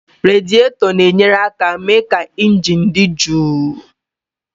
Radiétọ na-enyere aka mee ka injin dị jụụ